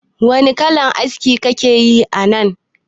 Wani kalan aski kakeyi anan?